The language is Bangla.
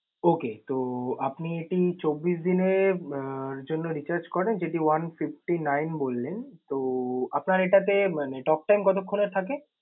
Okay তো আপনি এটি চব্বিশ দিনের আহ জন্য recharge করেন, যেটি one fifty nine বললেন। তো আপনার এটাতে মানে talk time কতখন এর থাকে?